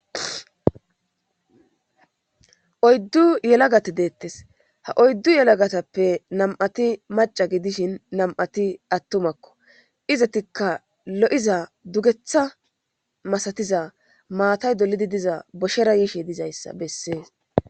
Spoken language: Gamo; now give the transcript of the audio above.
Oyddu yelagati deettes ha oyddu yelagatappe nam7ati maca gidishin nam7ati attumakko izatikka lo7iza dugetha masatiza maatay dolidi diza boshshera yiishe dizayssa bessees